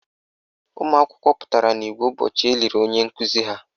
Ụmụakwụkwọ pụtara n' igwe ụbọchị eliri onye nkuzi ha.